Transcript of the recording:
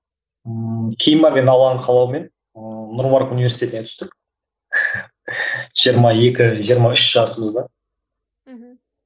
ммм кейін барып енді алланың қалауымен нұр мүбарак университетіне түстік жиырма екі жиырма үш жасымызда мхм